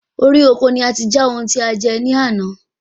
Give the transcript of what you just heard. Orí oko ni ati já oun tí a jẹ ní àná